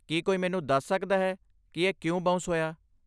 ਕੀ ਕੋਈ ਮੈਨੂੰ ਦੱਸ ਸਕਦਾ ਹੈ ਕਿ ਇਹ ਕਿਉਂ ਬਾਉਂਸ ਹੋਇਆ?